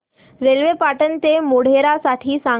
railway Patan ते मोढेरा साठी सांगा